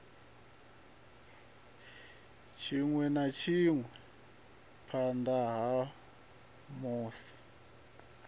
tshinwe na tshinwe phanda hamusi